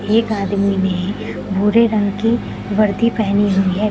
एक आदमी ने भूरे रंग की वर्दी पहेनी हुई है।